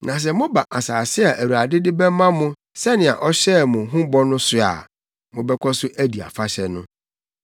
Na sɛ moba asase a Awurade de bɛma mo sɛnea ɔhyɛɛ mo ho bɔ no so a, mobɛkɔ so adi afahyɛ no.